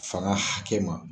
Fanga hakɛ ma.